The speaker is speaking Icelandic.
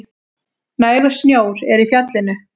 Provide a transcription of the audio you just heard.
Nægur snjór er í fjallinu